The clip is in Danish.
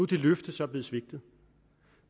det løfte så blevet svigtet